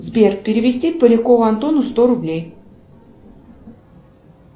сбер перевести полякову антону сто рублей